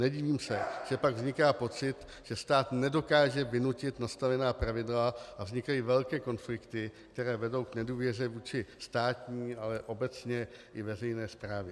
Nedivím se, že pak vzniká pocit, že stát nedokáže vynutit nastavená pravidla a vznikají velké konflikty, které vedou k nedůvěře vůči státní, ale obecně i veřejné správě.